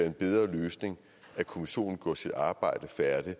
en bedre løsning at kommissionen gjorde sit arbejde færdigt i